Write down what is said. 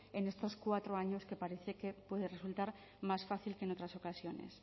en estos cuatro años que parece que puede resultar más fácil que en otras ocasiones